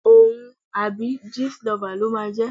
Òun àbí Jistlover ló máa jẹ́.